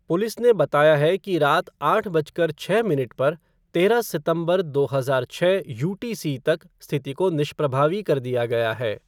Police ने बताया है कि रात आठ बजकर छः मिनट पर, तेरह सितंबर, दो हजार छः यूटीसी तक स्थिति को निष्प्रभावी कर दिया गया है।